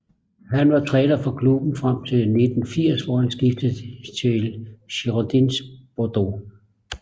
Han var træner for klubben frem til 1980 hvor han skiftede til Girondins Bordeaux